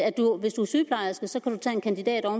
hvis man er sygeplejerske så kan